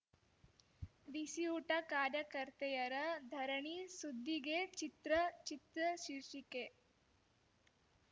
ಬಿಸಿಯೂಟ ಕಾರ್ಯಕರ್ತೆಯರ ಧರಣಿ ಸುದ್ದಿಗೆ ಚಿತ್ರ ಚಿತ್ರ ಶೀರ್ಷಿಕೆ